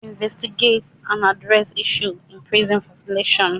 Investigate and address issues in prison facilities.